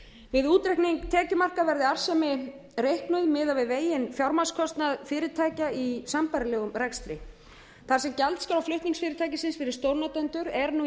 við útreikning tekjumarka verði arðsemi reiknuð miðað við veginn fjármagnskostnað fyrirtækja í sambærilegum rekstri þar sem gjaldskrá flutningsfyrirtækisins fyrir stórnotendur er nú í